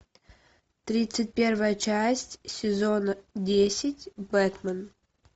тридцать первая часть сезона десять бэтмен